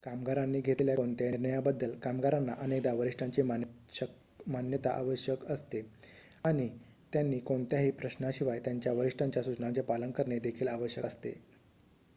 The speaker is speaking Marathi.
कामगारांनी घेतलेल्या कोणत्याही निर्णयाबद्दल कामगारांना अनेकदा वरिष्ठांची मान्यता आवश्यक असते आणि त्यांनी कोणत्याही प्रश्नाशिवाय त्यांच्या वरिष्ठांच्या सुचनांचे पालन करणे देखील आवश्यक असते